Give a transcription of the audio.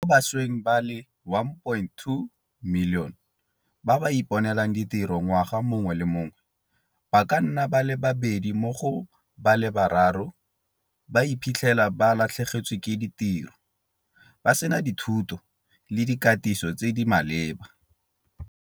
Mo bašweng ba le 1.2 milione ba ba iponelang ditiro ngwaga mongwe le mongwe, ba ka nna ba le babedi mo go ba le bararo ba iphitlhela ba latlhegetswe ke ditiro, ba sena dithuto le dikatiso tse di maleba.